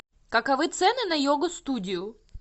каковы цены на йогу студию